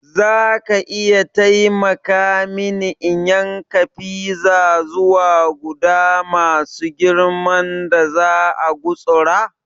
Zaka iya taimaka mini in yanka fiza zuwa guda masu girman da za'a gutsura?